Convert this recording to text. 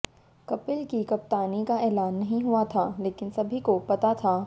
कपिल की कप्तानी का ऐलान नहीं हुआ था लेकिन सभी को पता था